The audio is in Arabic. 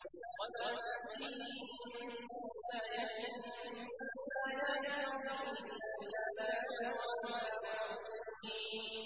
وَمَا تَأْتِيهِم مِّنْ آيَةٍ مِّنْ آيَاتِ رَبِّهِمْ إِلَّا كَانُوا عَنْهَا مُعْرِضِينَ